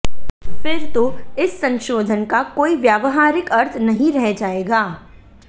फिर तो इस संशोधन का कोई व्यावहारिक अर्थ नहीं रह जाएगा